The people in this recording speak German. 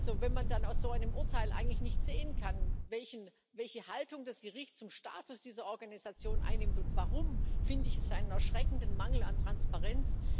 Also wenn man dann aus so einem Urteil eigentlich nicht sehen kann, welche Haltung das Gericht zum Status dieser Organisation einnimmt und warum, finde ich es einen erschreckenden Mangel an Transparenz.